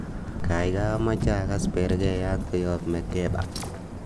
gaigai amoche agas bergeiyat koyop makeba